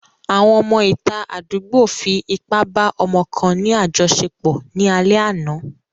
Àwọn ọmọ ìta àdúgbò fi ipá ba ọmọ kan ní àjoṣepọ̀ ní alẹ́ àná.